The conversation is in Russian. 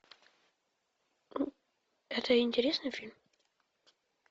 это интересный фильм